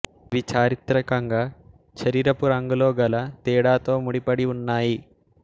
ఇవి చారిత్రికంగా శరీరపు రంగులో గల తేడాతో ముడిపడి ఉన్నాయి